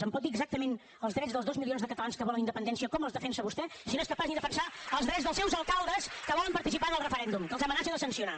em pot dir exactament els drets dels dos milions de catalans que volen la independència com els defensa vostè si no és capaç ni de defensar els drets dels seus alcaldes que volen participar en el referèndum que els amenaça de sancionar